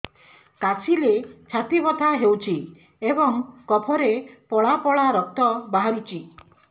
କାଶିଲେ ଛାତି ବଥା ହେଉଛି ଏବଂ କଫରେ ପଳା ପଳା ରକ୍ତ ବାହାରୁଚି